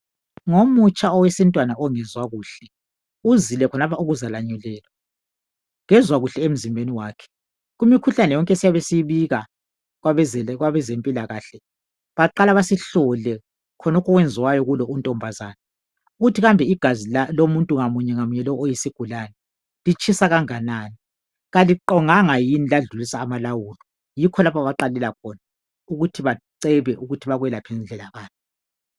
ngomutsha owesintwana ongezwa kuhle uzile khonalapha ukuzalanyulelwa kezwa kuhle emzimbeni wakhe kumikhuhlane yonke esiyabe siyibika kwabezempilakhle baqala basihlole khonalokhu okwenziwayo kulo untombazane ukuthi kambe igazi lomuntu munye ngamunye oyisigulane litshisa kanganani kaliqonganga yini ladlulisa amalawulo yikho lapha abaqalela khona ukuthi bacebe ukuthi bakwelaphe ngandlela bani